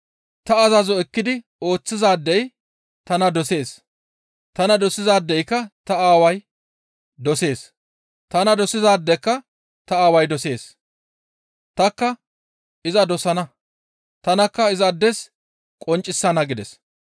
«Ta azazo ekkidi ooththizaadey tana dosees; tana dosizaadeka ta Aaway dosees; tanikka iza dosana; tanakka izaades qonccisana» gides.